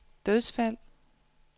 dødsfald